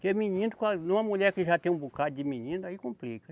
Porque menino com, numa mulher que já tem um bocado de menino, aí complica.